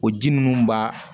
O ji minnu b'a